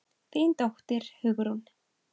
Þín dóttir, Hugrún.